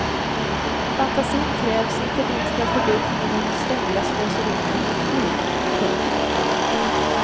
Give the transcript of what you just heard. Fantasin krävs inte minst för att få bukt med vårt ständiga slöseri med energi. punkt